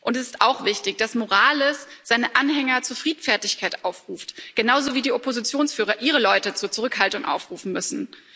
Es ist auch wichtig, dass Morales seine Anhänger zu Friedfertigkeit aufruft, genauso wie die Oppositionsführer ihre Leute zur Zurückhaltung aufrufen müssen.